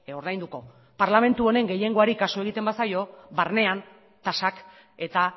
ordainduko parlamentu honen gehiengoari kasu egiten bazaio barnean tasak eta